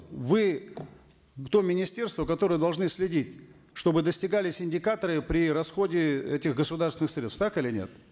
вы то министерство которое должны следить чтобы достигались индикаторы при расходе этих государственных средств так или нет